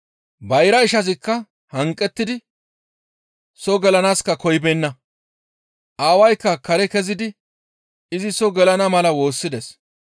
«Bayra ishazikka hanqettidi soo gelanaaska koyibeenna. Aawaykka kare kezidi izi soo gelana mala woossides.